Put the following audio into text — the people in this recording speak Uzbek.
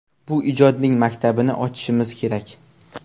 Bu ijodning maktabini ochishimiz kerak.